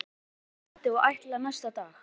Sævar sat hjá mér allt kvöldið og allan næsta dag.